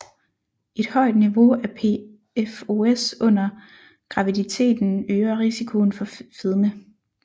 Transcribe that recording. Et højt niveau af PFOS under graviditeten øger risikoen for fedme